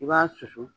I b'a susu